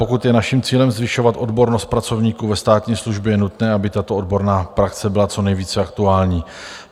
Pokud je naším cílem zvyšovat odbornost pracovníků ve státní službě, je nutné, aby tato odborná praxe byla co nejvíc aktuální.